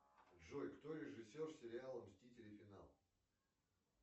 джой кто режиссер сериала мстители финал